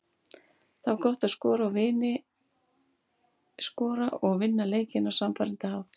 Það var gott að skora og vinna leikinn á sannfærandi hátt.